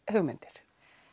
hugmyndir